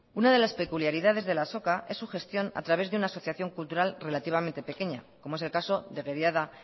una de las peculiaridades de la azoka es su gestión a través de una asociación cultural relativamente pequeña como es el caso de